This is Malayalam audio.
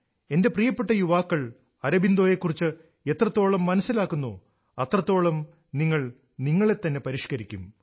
എന്റെപ്രിയപ്പെട്ട യുവാക്കൾ അരബിന്ദോയെക്കുറിച്ച് എത്രത്തോളം മനസിലാക്കുന്നോ അത്രത്തോളം നിങ്ങൾ നിങ്ങളെ തന്നെ പരിഷ്ക്കരിക്കും